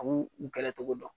A b'u u kɛlɛ cogo dɔn.